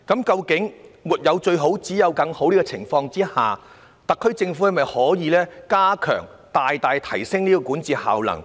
在"沒有最好，只有更好"的大前提下，特區政府可否大大提升其管治效能？